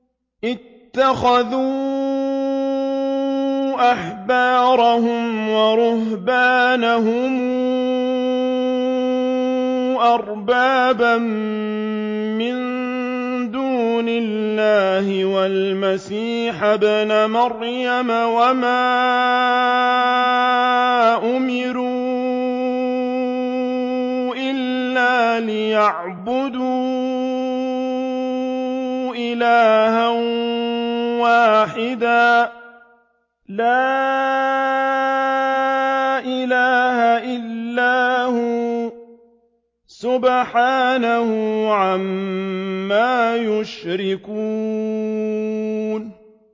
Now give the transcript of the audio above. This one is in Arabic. اتَّخَذُوا أَحْبَارَهُمْ وَرُهْبَانَهُمْ أَرْبَابًا مِّن دُونِ اللَّهِ وَالْمَسِيحَ ابْنَ مَرْيَمَ وَمَا أُمِرُوا إِلَّا لِيَعْبُدُوا إِلَٰهًا وَاحِدًا ۖ لَّا إِلَٰهَ إِلَّا هُوَ ۚ سُبْحَانَهُ عَمَّا يُشْرِكُونَ